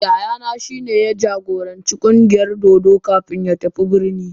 Yayana shi ne ya jagoranci ƙungiyar dodo kafin ya tafi birni.